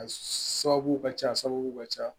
A sababu ka ca a sababu ka ca